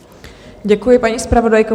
Děkuji, paní zpravodajko.